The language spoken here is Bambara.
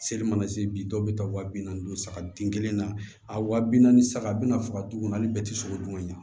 Seli mana se bi dɔw bɛ taa waa bi naani saga den kelen na a wa bi naani saga bɛna faga dun hali bɛɛ tɛ sogo dun ka ɲɛ